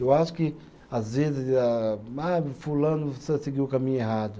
Eu acho que às vezes âh, ah, fulano se seguiu o caminho errado.